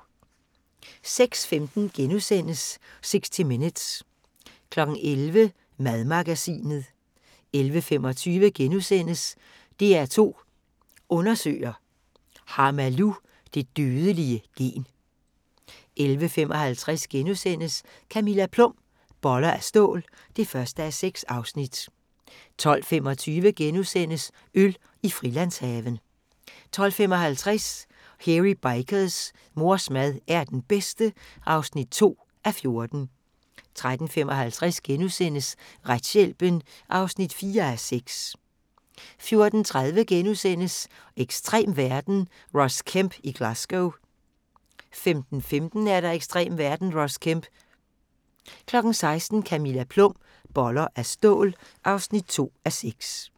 06:15: 60 Minutes * 11:00: Madmagasinet 11:25: DR2 Undersøger: Har Malou det dødelige gen? * 11:55: Camilla Plum – Boller af stål (1:6)* 12:25: Øl i Frilandshaven * 12:55: Hairy Bikers: Mors mad er den bedste (2:14) 13:55: Retshjælpen (4:6)* 14:30: Ekstrem verden - Ross Kemp i Glasgow * 15:15: Ekstrem verden – Ross Kemp 16:00: Camilla Plum – Boller af stål (2:6)